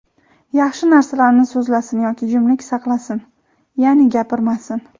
yaxshi narsalarni so‘zlasin yoki jimlik saqlasin (ya’ni, gapirmasin).